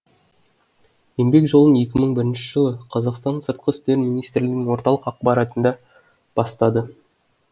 еңбек жолын екі мың бірінші жылы қазақстанның сыртқы істер министрлігінің орталық аппаратында бастады